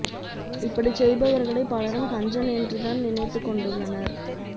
இப்படிச் செய்பவர்களை பலரும் கஞ்சன் என்று தான் நினைத்துக் கொண்டுள்ளனர்